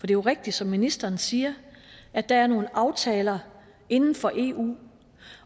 jo rigtigt som ministeren siger at der er nogle aftaler inden for eu